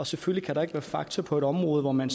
selvfølgelig kan der ikke være fakta på et område hvor man